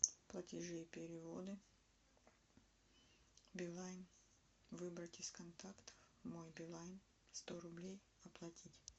платежи и переводы билайн выбрать из контактов мой билайн сто рублей оплатить